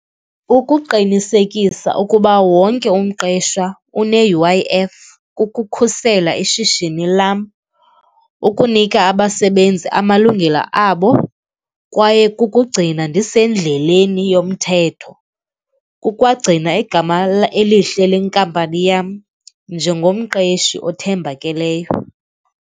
Ukuqinisekisa ukuba wonke umqeshwa une-U_I_F kukukhusela ishishini lam, ukunika abasebenzi amalungelo abo kwaye kukugcina ndisendleleni yomthetho. Kukwagcina igama elihle lenkampani yam njengomqeqeshi othembakeleyo.